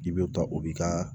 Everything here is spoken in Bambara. I bɛ ka o b'i ka